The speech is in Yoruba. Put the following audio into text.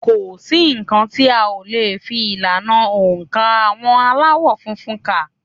Kò sí nǹkan tí a ò le fi ìlànà oǹkà àwọn Aláwọ̀ funfun kà